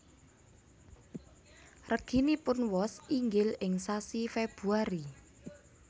Reginipun wos inggil ing sasi Februari